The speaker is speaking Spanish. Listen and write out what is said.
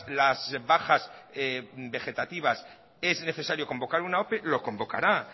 las bajas vegetativas es necesario convocar una ope lo convocará